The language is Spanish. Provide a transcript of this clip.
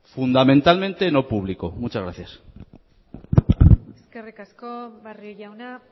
fundamentalmente no público muchas gracias eskerrik asko barrio jauna